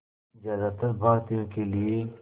ज़्यादातर भारतीयों के लिए